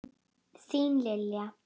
Þín Lilja.